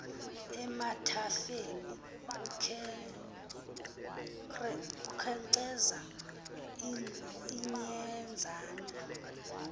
emathafeni kukhenkceza inyenzane